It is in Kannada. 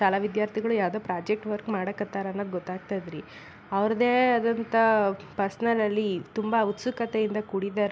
ತಳ ವಿದ್ಯಾರ್ಥಿಗಳು ಯಾವ್ದೋ ಪ್ರಾಜೆಕ್ಟ್ ವರ್ಕ್ ಮಾಡಕ್ ಹತ್ತಾರ್ ಅಂತ ಗೊತ್ತಾಗ್ತದ್ ರೀ ಅವ್ರ್ದೇ ಆದಂಥ ಪರ್ಸನಲ್ ಅಲ್ಲಿ ತುಂಬಾ ಉಸ್ತುಕತೆಯಿಂದ ಕೂಡಿದರ್ --